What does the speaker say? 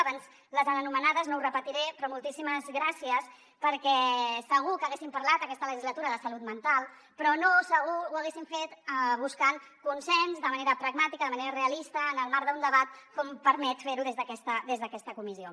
abans les han anomenades no ho repetiré però moltíssimes gràcies perquè segur que haguéssim parlat aquesta legislatura de salut mental però no segur que ho haguéssim fet buscant consens de manera pragmàtica de manera realista en el marc d’un debat com permet fer ho des d’aquesta comissió